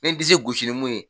Me disi gosi ni mun ye